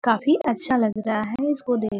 काफी अच्छा लग रहा है इसको देख --